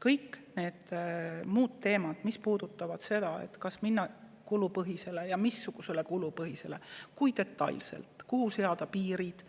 Kõik muud teemad, mis puudutavad seda, kas minna üle kulupõhisele ja missugusele kulupõhisusele, kui detailselt seda teha, kuhu seada piirid,